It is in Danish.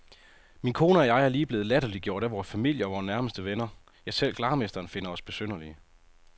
Min kone og jeg er lige blevet latterliggjort af vor familie og nærmeste venner, ja selv glarmesteren finder os besynderlige.